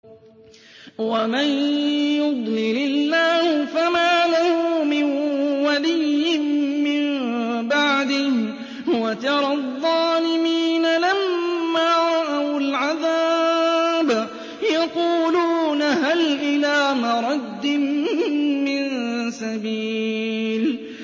وَمَن يُضْلِلِ اللَّهُ فَمَا لَهُ مِن وَلِيٍّ مِّن بَعْدِهِ ۗ وَتَرَى الظَّالِمِينَ لَمَّا رَأَوُا الْعَذَابَ يَقُولُونَ هَلْ إِلَىٰ مَرَدٍّ مِّن سَبِيلٍ